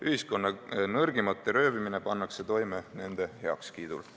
Ühiskonna nõrgimate röövimine pannakse toime nende heakskiidul.